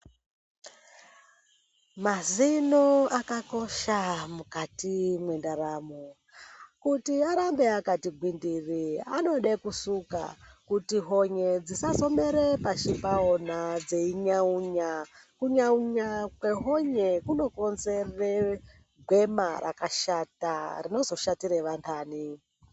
Mazino aka kosha mukati mwe ndaramo kuti arambe akati ngwindiri anode kusuka kuti honye dzisazo mere pashi pawona dzeyi nyaunya ku nyaunya kwe honye kuno konzera gwema raka shata rinozo shatire vandani.